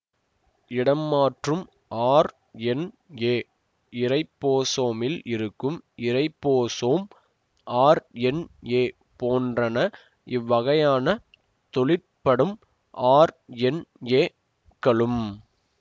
இடம்மாற்றும் RNA இரைபோசோமில் இருக்கும் ribosome RNA போன்றன இவ்வகையான தொழிற்படும் ஆர்என்ஏக்களும்